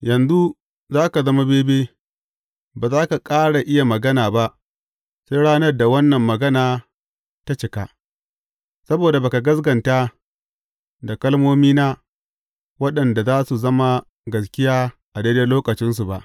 Yanzu za ka zama bebe, ba za ka ƙara iya magana ba sai ranar da wannan magana ta cika, saboda ba ka gaskata da kalmomina waɗanda za su zama gaskiya a daidai lokacinsu ba.